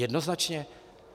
Jednoznačně.